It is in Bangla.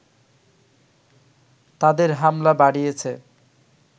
তাদের হামলা বাড়িয়েছে